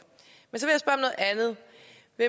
så er